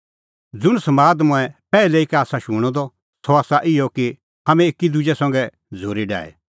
ज़ुंण समाद तम्हैं पैहलै ई का आसा शूणअ द सह आसा इहअ कि हाम्हैं एकी दुजै संघै झ़ूरी डाहे